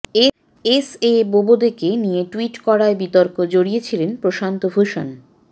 S A বোবদেকে নিয়ে tweet করায় বিতর্কে জড়িয়েছিলেন প্রশান্ত ভূষণ